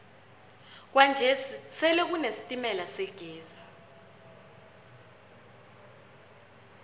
kwanje sele kune sitemala segezi